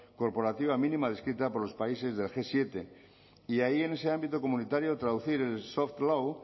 corporativa mínima descrita por los países del gmenos siete y ahí en ese ámbito comunitario traducir el soft law